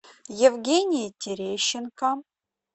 евгении терещенко